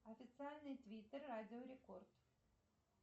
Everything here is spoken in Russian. официальный твиттер радио рекорд